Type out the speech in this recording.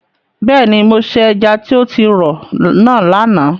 Bẹ́ẹ̀ni, mo se ẹja tí o ti rọ̀ náà lánàá.